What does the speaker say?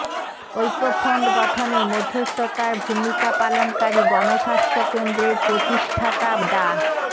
ঐক্যফ্রন্ট গঠনে মধ্যস্থতার ভূমিকা পালনকারী গণস্বাস্থ্য কেন্দ্রের প্রতিষ্ঠাতা ডা